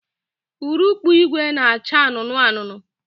Urukpu ìgwè na-acha anụnụ anụnụ